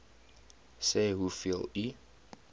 sê hoeveel u